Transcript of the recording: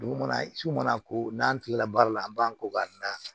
Dugu kɔnɔ su kɔnɔ ko n'an tilala baara la an b'an ko k'an da